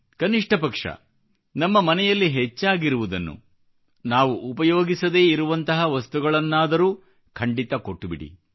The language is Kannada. ಕನಿಷ್ಠ ಪಕ್ಷ ನಮ್ಮ ಮನೆಯಲ್ಲಿ ಹೆಚ್ಚಾಗಿರುವುದನ್ನು ನಾವು ಉಪಯೋಗಿಸದೇ ಇರುವಂತಹ ವಸ್ತುಗಳನ್ನಾದರೂ ಖಂಡಿತಾ ಕೊಟ್ಟುಬಿಡಿ